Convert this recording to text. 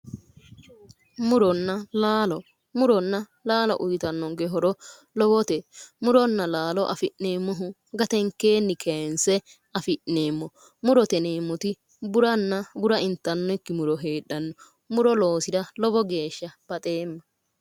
muronna laalo muronna laalo uyitannonke horo lowote muronna laalo afi'neemmohu gatenkeenni kayinse afi'neemmo murote yineemmoti buranna bura intannikki muro heedhanno muro loosira lowo geeshsha baxeemma.